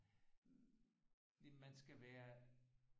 Man skal være